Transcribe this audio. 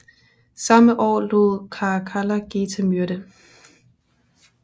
Samme år lod Caracalla Geta myrde